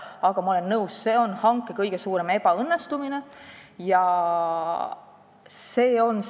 Aga ma olen nõus, et see on kõige suurem ebaõnnestumine selles hankes.